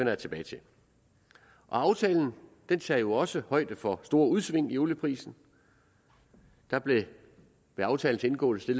jeg tilbage til aftalen tager også højde for store udsving i olieprisen der blev ved aftalens indgåelse